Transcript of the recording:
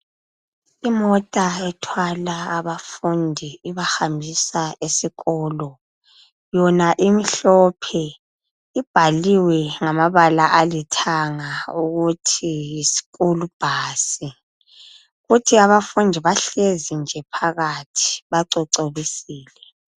Imota ethwala abafundi ibahambisa esikolo. Yona imhlophe. Ibhaliwe ngamabala alithanga ukuthi yibhasi yesikolo. Kuthi abafundi bahlezi nje phakathi bacocobisile.